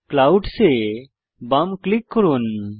clouds এ বাম click করুন